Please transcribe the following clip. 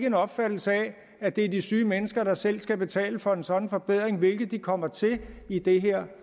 en opfattelse af at det er de syge mennesker der selv skal betale for sådan en forbedring hvilket de kommer til i det her